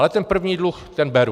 Ale ten první dluh, ten beru.